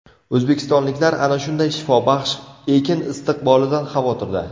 O‘zbekistonliklar ana shunday shifobaxsh ekin istiqbolidan xavotirda.